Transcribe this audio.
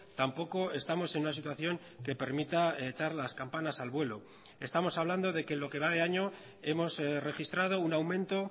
tampoco estamos en una situación que permita echar las campanas al vuelo estamos hablando de que lo que va de año hemos registrado un aumento